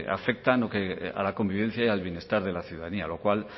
afectan a la convivencia y al bienestar de la ciudadanía lo cual